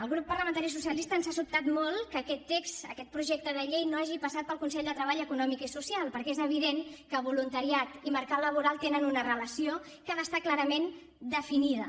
al grup parlamentari socialista ens ha sobtat molt que aquest text aquest projecte de llei no hagi passat pel consell de treball econòmic i social perquè és evident que voluntariat i mercat laboral tenen una relació que ha d’estar clarament definida